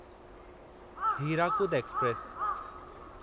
Hirakud express